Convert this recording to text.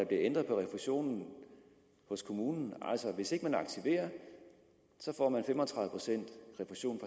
ændret på refusionen hos kommunen altså hvis ikke man aktiverer får man fem og tredive procent refusion